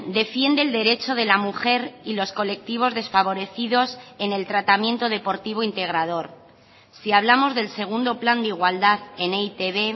defiende el derecho de la mujer y los colectivos desfavorecidos en el tratamiento deportivo integrador si hablamos del segundo plan de igualdad en e i te be